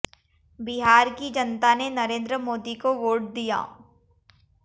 बिहार की जनता ने नरेंद्र मोदी को वोट दिया